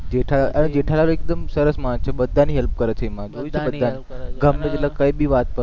જેઠાલાલ એકદમ સરસ માણસ છે બધાની help કરે છે ઈ કઈ ભી વાત